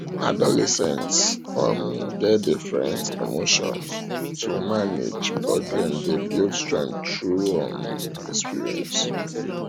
adolescents um get different emotions to manage but dem dey build strength through um experience